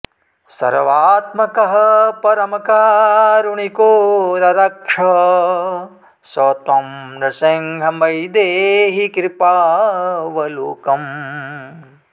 सर्वात्मकः परमकारुणिको ररक्ष स त्वं नृसिंह मयि देहि कृपावलोकम्